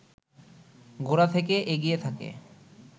গোড়া থেকেই এগিয়ে থাকে